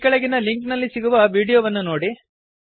ಈ ಕೆಳಗಿನ ಲಿಂಕ್ ನಲ್ಲಿ ಸಿಗುವ ವೀಡಿಯೋವನ್ನು ನೋಡಿ